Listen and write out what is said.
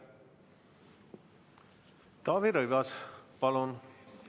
Taavi Rõivas, palun!